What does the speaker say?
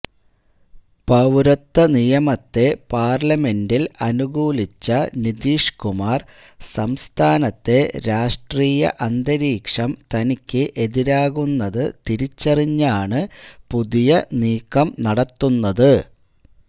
പൌരത്വനിയമത്തെ പാർലമെന്റിൽ അനുകൂലിച്ച നിതീഷ് കുമാർ സംസ്ഥാനത്തെ രാഷ്ട്രീയ അന്തരീഷം തനിക്ക് എതിരാകുന്നത് തിരിച്ചറിഞ്ഞാണ് പുതിയ നീക്കം നടത്തുന്നത്